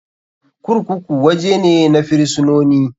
Kurkuku waje ne na firisinoni.